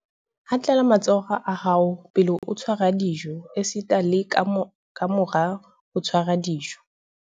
Hatlela matsoho a hao pele o tshwara dijo esita le kamora ho tshwara dijo